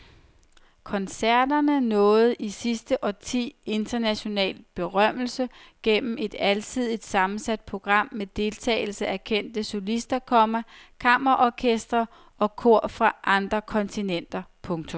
Koncerterne nåede i sidste årti international berømmelse gennem et alsidigt sammensat program med deltagelse af kendte solister, komma kammerorkestre og kor fra alle kontinenter. punktum